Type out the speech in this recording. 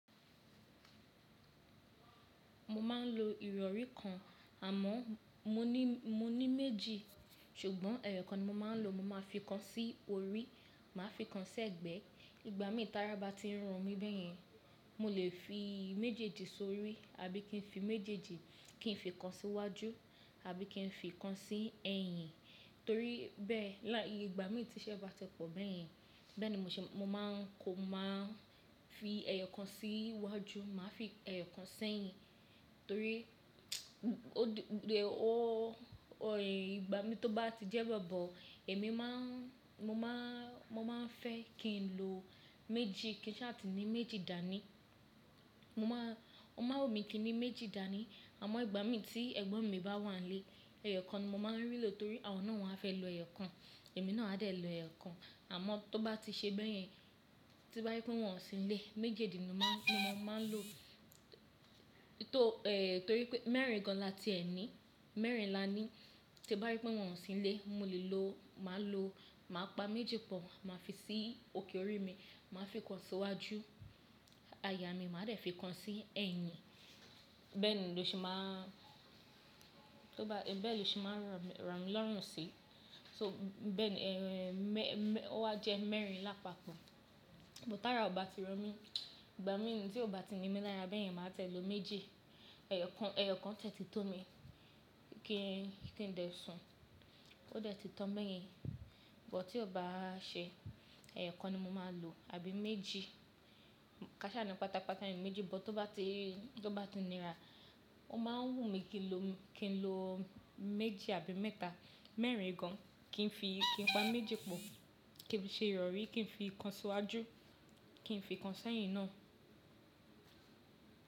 Mo máa ń lo ìrọ̀rí kan àmọ́ mo ní, mo ní méjì. Ṣùgbọ́n ẹyọ kan ni mo máa ń lò. Mo máa fikan sí orí, màá fikan sẹ̀gbẹ́. Ìgbà míi tara bá ti ń ro mí bẹ́yẹn, mo lè fi méjèèjì sórí àbí kí n fi méjèèjì kí n fikan síwájú àbí kí n fikan sí ẹ̀yìn. Torí bẹ́ẹ̀ láì ìgbà mií tíṣẹ́ bá ti pọ̀ bẹ́yẹn, bẹ́ẹ̀ ni mo ṣe mo máa ń kọ mo máa ń fi ẹyọ kan sí wájú. Màá fi ẹyọ kan sẹ̀yìn. Torí ó d-- o ẹ̀ ìgbà mií tó bá ti jẹ́ we obọ̀, èmi má ń, mo má ń, mo máa ń fẹ́ kí n lo méjì kí n ṣáa ti ní méjì dání. Mo máa, o máa n wù mí kí n ní méjì dání. Àmọ́ ìgbà mií tí ẹ̀gbọ́n mi bá wà nlé, ẹyọ kan ni mo máa ń rí lò torí àwọn náà won á fẹ́ lo ẹyọ kan, èmi náà a dẹ̀ lo ẹyọ kan. Àmọ́ tó bá ti ṣe bẹ́yẹn, to bá je pé wọ́n ò sínlé, méjèèjì ni má n, ni mo máa ń lò. Torí pé mẹ́rin gan la tíẹ ní. Mẹ́rin la ní. Tí n bá rí pé wọ́n ò sínlé, mo lè lò, màá lò, màá pa méjì pọ̀, màá fi sí òkè orí mi, màá fikan síwájú, aya mi màá dẹ̀ fikan sí ẹ̀yìn. Bẹ́ẹ̀ ni lóṣe má ń, tó bá, bẹ́ẹ̀ lóṣe má ń ràn, ràn mí lọ́rùn sí. So bẹ́ẹ̀ ni, ehn mẹ, mẹ, o wá jẹ́ mẹ́rin lápapọ̀. But tara ò bá ti ro mí, ìgbà mií tí ò bá ti ními lára bẹ́yẹn, màá tiẹ̀ lo méjì. Ẹyọ kan, ẹyọ kan tiẹ́ tí tó mi kí n, kí n dẹ sun. Ó dẹ́ ti tan bẹ́yẹn. But tí ò bá ṣe, ẹyọ kan ni mo máa lò àbí méjì. Kàṣá ni pátápátá ení méjì. But tó bá ti, tó bá ti nira, ó máa ń wùnmí kí n lo, kí n lo méjì àbí mẹ́ta. Mẹ́rin gan. Kí n fi, kí n pa méjì pọ̀. Kí n fi ṣe ìrọ̀rí, kí n fi ìkan síwájú, kí n fikan sẹ̀yìn náà.